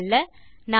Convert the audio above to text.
சுருங்க சொல்ல